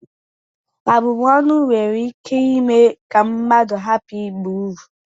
Abụm ọnụ nwere ike ime ka mmadụ hapụ ịba ị uru